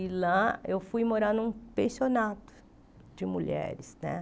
E lá eu fui morar num pensionato de mulheres né.